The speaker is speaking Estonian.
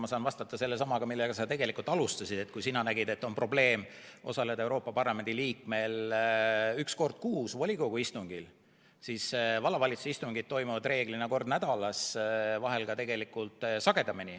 Ma saan vastata selle samaga, millega sa tegelikult alustasid, et kui sina nägid, et Euroopa Parlamendi liikmel on probleem osaleda üks kord kuus volikogu istungil, siis vallavalitsuse istungid toimuvad reeglina kord nädalas, vahel ka sagedamini.